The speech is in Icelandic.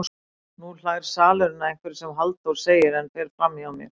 Nú hlær salurinn að einhverju sem Halldór segir en fer framhjá mér.